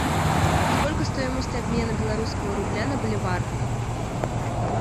сколько стоимость обмена белорусского рубля на боливар